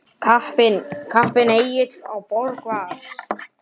Kappinn Egill á Borg var.